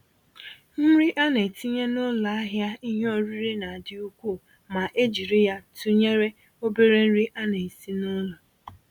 Nri ana-etinye n'ụlọ ahịa ìhè oriri na-adị ukwuu ma e jiri ya tụnyere obere nri anyị na-esi n'ụlọ.